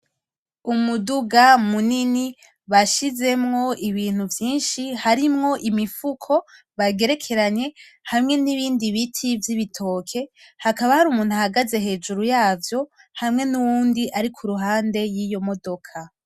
Umuduga munini bashizemwo ibintu vyinshi, harimwo imifuko bagerekeranye hamwe nibindi biti vyibitoke, hakaba hari umuntu ahagaze hejuru yavyo, hamwe nuwundi ari kuruhande yiyo modoka.